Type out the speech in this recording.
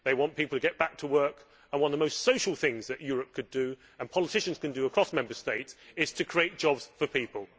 they want people to get back to work. One of the most social things that Europe and politicians could do across Member States is create jobs for people.